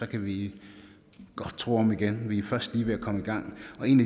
kan vi godt tro om igen vi er først lige ved at komme i gang